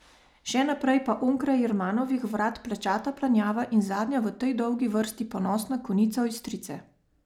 Še naprej pa onkraj Jermanovih vrat plečata Planjava in zadnja v tej dolgi vrsti ponosna konica Ojstrice.